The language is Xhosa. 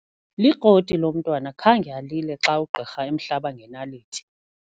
Likroti lo mntwana khange alile xa ugqirha emhlaba ngenaliti.